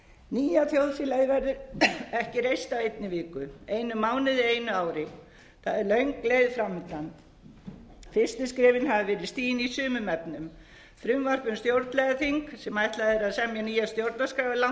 nýja þjóðfélagið verður ekki reist á einni viku einum mánuði eða einu ári það er löng leið fram undan fyrst skrefin hafa verið stigin í sumum efnum frumvarp um stjórnlagaþing sem ætlað er að selja nýja stjórnarskrá er langt komið í umræðu